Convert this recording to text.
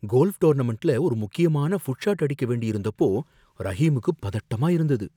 Golf டோர்னமென்ட்ல ஒரு முக்கியமான புட் ஷாட் அடிக்க வேண்டியிருந்தப்போ ரஹீமுக்கு பதட்டமா இருந்தது.